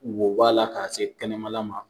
wo b'a la k'a se kɛnɛmana ma